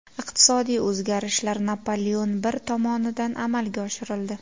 Iqtisodiy o‘zgarishlar Napoleon I tomonidan amalga oshirildi.